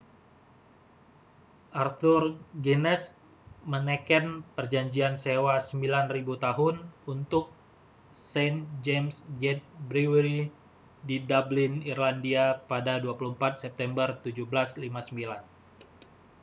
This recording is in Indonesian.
arthur guinness meneken perjanjian sewa 9.000 tahun untuk st james' gate brewery di dublin irlandia pada 24 september 1759